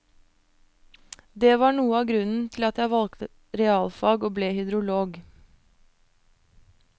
Det var noe av grunnen til at jeg valgte realfag og ble hydrolog.